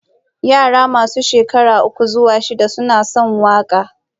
Yara masu shekaru uku zuwa shida suna son waƙa.